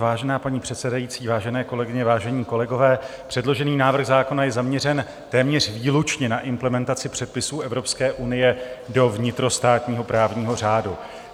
Vážená paní předsedající, vážené kolegyně, vážení kolegové, předložený návrh zákona je zaměřen téměř výlučně na implementaci předpisů Evropské unie do vnitrostátního právního řádu.